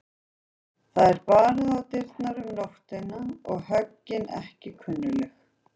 Það er barið á dyrnar um nótt og höggin ekki kunnugleg.